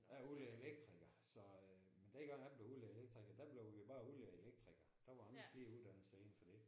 Jeg er udlært elektriker så øh men den gang jeg blev udlært elektriker der blev vi bare udlærte elektrikere der var ikke flere uddannelser indenfor det